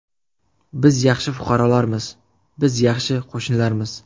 Biz yaxshi fuqarolarmiz, biz yaxshi qo‘shnilarmiz.